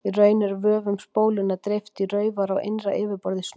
Í raun er vöfum spólunnar dreift í raufar á innra yfirborði snúðsins.